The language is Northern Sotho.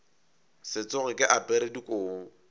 se tsoge ke apere dikobo